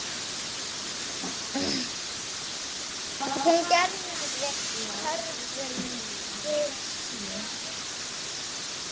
Hún gerði kröfur til sín.